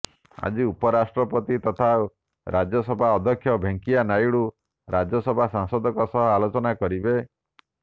ଆଜି ଉପରାଷ୍ଟ୍ରପତି ତଥା ରାଜ୍ୟସଭା ଅଧ୍ୟକ୍ଷ ଭେଙ୍କିୟା ନାଇଡୁ ରାଜ୍ୟସଭା ସାଂସଦଙ୍କ ସହ ଆଲୋଚନା କରିବେ